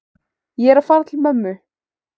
Ég er að fara til mömmu.